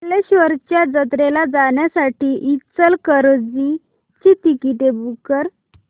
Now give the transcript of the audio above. कल्लेश्वराच्या जत्रेला जाण्यासाठी इचलकरंजी ची तिकिटे बुक कर